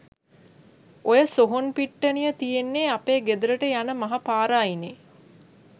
ඔය සොහොන් පිට්ටනිය තියෙන්නේ අපේ ගෙදරට යන මහ පාර අයිනේ.